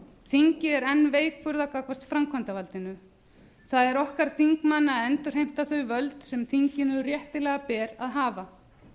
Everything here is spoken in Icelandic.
þingið er enn veikburða gagnvart framkvæmdarvaldinu það er okkar þingmanna að endurheimta þau völd sem þinginu réttilega ber að hafa